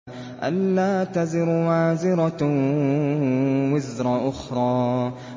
أَلَّا تَزِرُ وَازِرَةٌ وِزْرَ أُخْرَىٰ